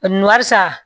Warisa